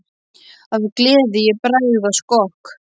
Af gleði ég bregð á skokk.